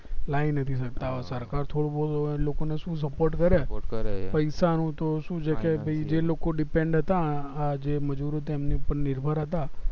લાઈ નથી શકતા સરકાર તો લોકો ને શું support કરે પૈસા નું તો શું છે કે જે લોકો depend હતા કા જે મજુરો તેમના ઉપર નિર્ભર હતા